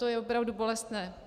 To je opravdu bolestné!